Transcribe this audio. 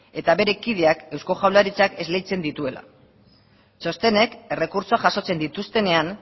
eta bere kideak eusko jaurlaritzak esleitzen dituela txostenek errekurtsoa jasotzen dituztenean